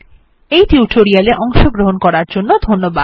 এই টিউটোরিয়াল এ অংশগ্রহন করার জন্য ধন্যবাদ